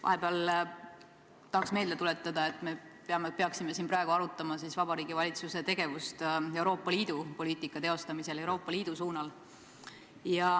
Vahepeal tahaks meelde tuletada, et me peaksime siin praegu arutama Vabariigi Valitsuse tegevust Euroopa Liidu poliitika teostamisel.